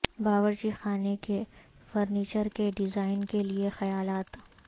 باورچی خانے کے فرنیچر کے ڈیزائن کے لئے خیالات